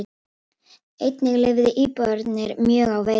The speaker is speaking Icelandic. Einnig lifðu íbúarnir mjög á veiðum.